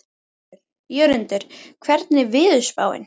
Jörundur, hvernig er veðurspáin?